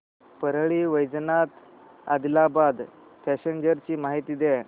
Parli Vaijnath Adilabad passenger ची माहिती द्या